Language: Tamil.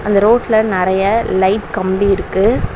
அந்த ரோட்ல நிறைய லைட் கம்பி இருக்கு.